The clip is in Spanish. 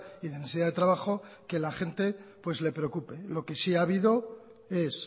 y necesidad de trabajo que la gente le preocupe lo que sí ha habido es